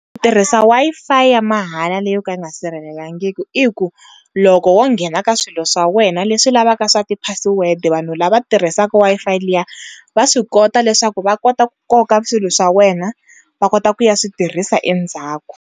Ku tirhisa Wi-Fi ya mahala leyi yo ka yi nga sirhelelangiki i ku loko wo nghena ka swilo swa wena leswi lavaka swa ti password vanhu lava tirhisaka Wi-Fi liya va swi kota leswaku va kota ku koka swilo swa wena va kota ku ya swi tirhisa endzhaku.